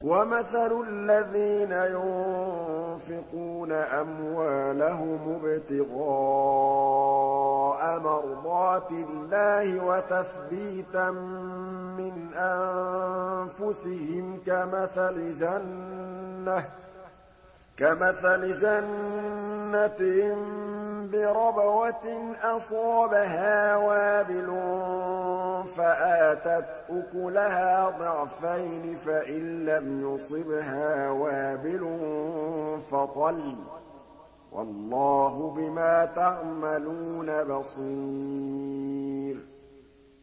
وَمَثَلُ الَّذِينَ يُنفِقُونَ أَمْوَالَهُمُ ابْتِغَاءَ مَرْضَاتِ اللَّهِ وَتَثْبِيتًا مِّنْ أَنفُسِهِمْ كَمَثَلِ جَنَّةٍ بِرَبْوَةٍ أَصَابَهَا وَابِلٌ فَآتَتْ أُكُلَهَا ضِعْفَيْنِ فَإِن لَّمْ يُصِبْهَا وَابِلٌ فَطَلٌّ ۗ وَاللَّهُ بِمَا تَعْمَلُونَ بَصِيرٌ